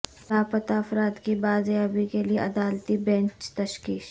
لاپتا افراد کی بازیابی کے لیے عدالتی بینچ تشکیل